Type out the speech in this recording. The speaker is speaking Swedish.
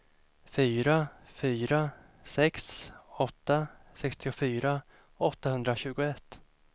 fyra fyra sex åtta sextiofyra åttahundratjugoett